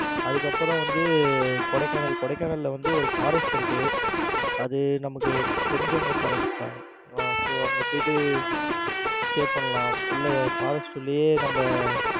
அதுக்கப்புறம் வந்து கொடைக்கானல். கொடைக்கானல்ல வந்து ஒரு forest இருக்கு. அது வந்து நமக்கு தெரிஞ்சவங்க forest தான் ஆஹ் so அங்க போயிட்டு stay பண்ணலாம். உள்ள Forest உள்ளயே நம்ம